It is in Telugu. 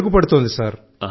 మెరుగుపడుతోంది సార్